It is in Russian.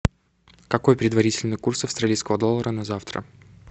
какой предварительный курс австралийского доллара на завтра